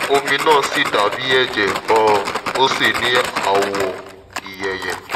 omi náà sì dàbí ẹ̀jẹ̀ um ó sì ní àwọ̀ ìyeyè